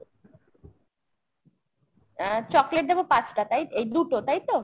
আহ chocolate দেবো পাঁচটা তাই এই দুটো তাই তো ?